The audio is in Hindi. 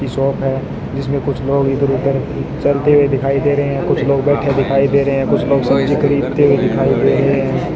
ये शॉप है जिसमें कुछ लोग इधर उधर चलते हुए दिखाई दे रहे हैं कुछ लोग बैठे दिखाई दे रहे हैं कुछ लोग सब्जी खरीदते हुए दिखाई दे रहे हैं।